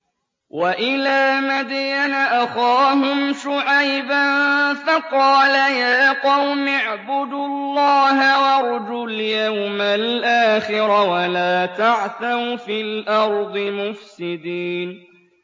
وَإِلَىٰ مَدْيَنَ أَخَاهُمْ شُعَيْبًا فَقَالَ يَا قَوْمِ اعْبُدُوا اللَّهَ وَارْجُوا الْيَوْمَ الْآخِرَ وَلَا تَعْثَوْا فِي الْأَرْضِ مُفْسِدِينَ